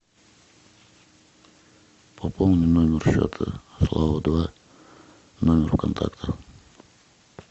пополни номер счета слава два номер контакта